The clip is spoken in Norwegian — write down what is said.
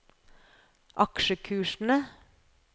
aksjekursene